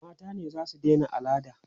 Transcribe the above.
mata ne zasu Daina alada